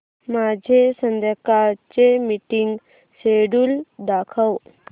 माझे संध्याकाळ चे मीटिंग श्येड्यूल दाखव